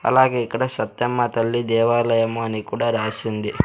అలాగే ఇక్కడ సత్యమ్మ తల్లి దేవాలయం అని కూడా రాసింది.